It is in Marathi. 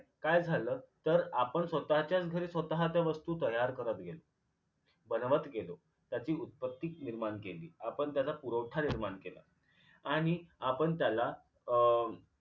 काय झालं तर आपण स्वतःच्याच घरी स्वतःच्या वस्तू तयार करत गेलो बनवत गेलो त्याची उत्पत्ती निर्माण केली आपण त्याला पुरवठा निर्माण केला आणि आपण त्याला अं